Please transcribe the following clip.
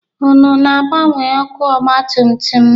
Unu na-agbanwe ọkụ ọgbatumtum?